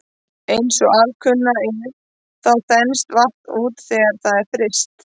Eins og alkunna er þá þenst vatn út þegar það er fryst.